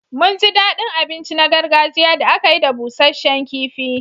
Mun ji daɗin abinci na gargajiya da aka yi da busasshen kifi.